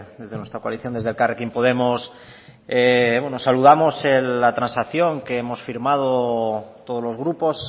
desde nuestra coalición desde elkarrekin podemos saludamos la transacción que hemos firmado todos los grupos